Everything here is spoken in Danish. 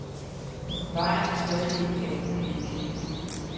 Vejen er stadig ikke andet end en klippehylde.